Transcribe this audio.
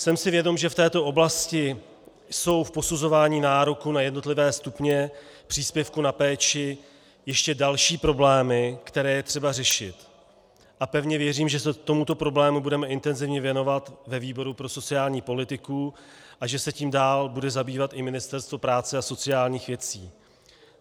Jsem si vědom, že v této oblasti jsou v posuzování nároků na jednotlivé stupně příspěvků na péči ještě další problémy, které je třeba řešit, a pevně věřím, že se tomuto problému budeme intenzivně věnovat ve výboru pro sociální politiku a že se tím dál bude zabývat i Ministerstvo práce a sociálních věcí.